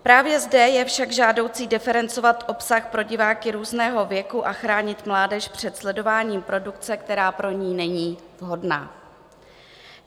Právě zde je však žádoucí diferencovat obsah pro diváky různého věku a chránit mládež před sledováním produkce, která pro ni není vhodná.